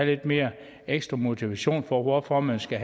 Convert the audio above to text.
lidt mere ekstra motivation for hvorfor man skal